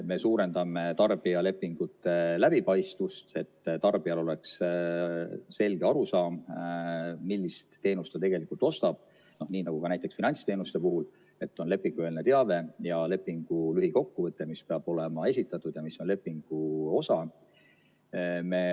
Me suurendame tarbijalepingute läbipaistvust, et tarbijal oleks selge arusaam, millist teenust ta tegelikult ostab, nii nagu ka näiteks finantsteenuste puhul, et on lepingueelne teave ja lepingu lühikokkuvõte, mis peab olema esitatud, ja mis on lepingu osa.